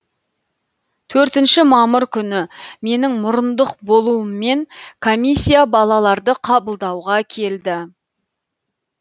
төртінші мамыр күні менің мұрындық болуыммен комиссия балаларды қабылдауға келді